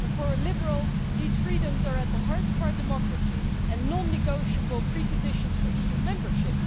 For a liberal, these freedoms are at the heart of our democracy and are non negotiable preconditions for EU membership.